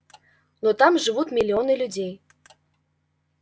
но там живут миллионы людей